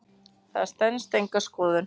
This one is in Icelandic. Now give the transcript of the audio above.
Það stenst enga skoðun.